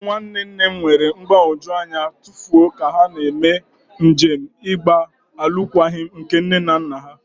Ụmụ nwanne nne m nwere mgbagwoju anya ma tụfuo ka ha na-eme njem ịgba alụkwaghịm nke nne na nna ha.